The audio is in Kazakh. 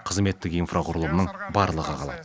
қызметтік инфрақұрылымның барлығы қалады